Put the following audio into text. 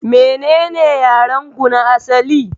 Menene yarenku na asali?